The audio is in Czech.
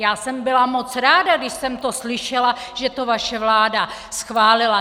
Já jsem byla moc ráda, když jsem to slyšela, že to vaše vláda schválila.